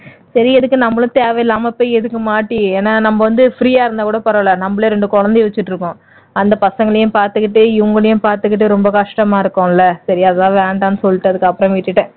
சரி எதுக்கு நம்மளும் தேவையில்லாம எதுக்கு மாட்டி ஏன்னா நம்ம வந்து free யா இருந்தா கூட பரவால்ல நம்மளே ரெண்டு குழந்தை வச்சிட்டு இருக்கோம் அந்த பசங்களையும் பார்த்துக்கொண்டே இவங்களையும் பார்த்துகிட்டு ரொம்ப கஷ்டமா இருக்கும் இல்ல சரியா தான் வேண்டாம்னு சொல்லிட்டு அதுக்கு அப்புறம் விட்டுட்டேன்